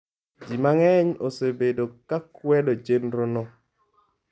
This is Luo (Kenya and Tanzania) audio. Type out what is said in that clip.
Ji mang'eny osebedo ka kwedo chenrono.